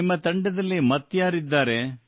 ನಿಮ್ಮ ತಂಡದಲ್ಲಿ ಮತ್ಯಾರಿದ್ದಾರೆ